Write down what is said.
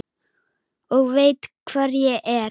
Og veit hvar ég er.